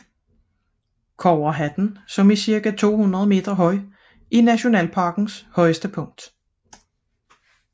Kobberhatten er med cirka 200 meter nationalparkens højeste punkt